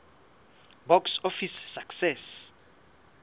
box office success